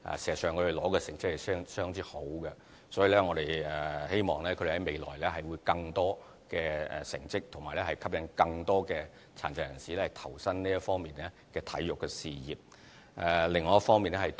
事實上，他們所取得的成績是相當好，所以希望他們在未來會有更佳的成績，並吸引更多殘疾人士投身體育事業。